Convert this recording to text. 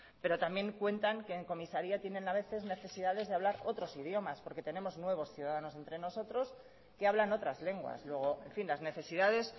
pero también cuentan que en comisaría tienen a veces necesidades de hablar otros idiomas porque tenemos nuevos ciudadanos entre nosotros que hablan otras lenguas luego en fin las necesidades